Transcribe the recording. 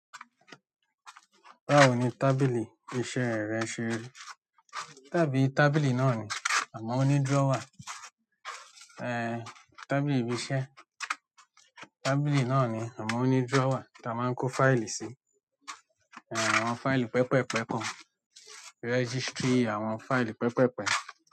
Báwo ni tábìlì iṣẹ́ rẹ ṣe rí? Tá bí tábìlì náà ni àmọ́ ó ní drawer. Ehn, tábìlì iṣẹ́. Tábìlì náà ni àmọ́ ó ní drawer tí a máa ń kó fáìlì sí. Àwọn fáìlì pepepe kan registry àwọn fáìlì pẹpẹpẹ.